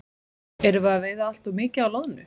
Erum við að veiða allt of mikið af loðnu?